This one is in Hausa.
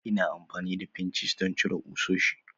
Ina amfani da pinches don cire ƙusoshi